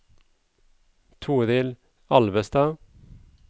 Torild Alvestad